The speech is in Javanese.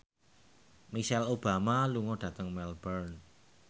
Michelle Obama lunga dhateng Melbourne